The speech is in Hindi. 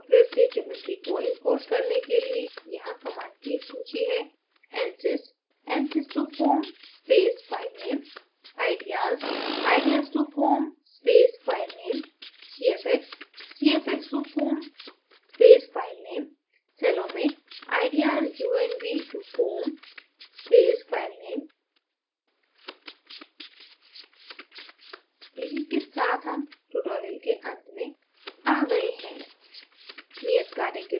अन्य meshing सॉफ्टवेयर से geometry को import करने के लिए यहाँ commands की एक सूची है